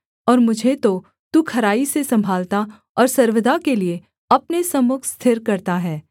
और मुझे तो तू खराई से सम्भालता और सर्वदा के लिये अपने सम्मुख स्थिर करता है